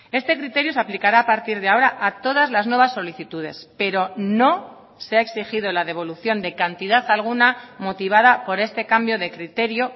este criterio se aplicará a partir de ahora a todas las nuevas solicitudes pero no se ha exigido la devolución de cantidad alguna motivada por este cambio de criterio